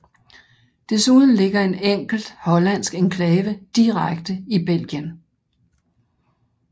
Desuden ligger en enkelt hollandsk enklave direkte i Belgien